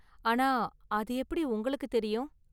ஆனா, அது எப்படி உங்களுக்கு தெரியும்?